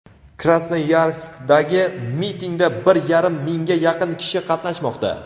Krasnoyarskdagi mitingda bir yarim mingga yaqin kishi qatnashmoqda.